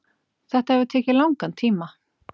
Þetta hefur tekið langan tíma